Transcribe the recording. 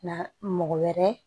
Na mɔgɔ wɛrɛ